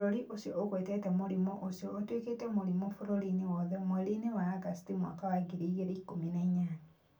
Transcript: Bũrũri ũcio ũgwetete mũrimũ ũcio ũtuĩke mũrimũ bũrũri-inĩ wothe mweri-inĩ wa Agosti mwaka wa 2018.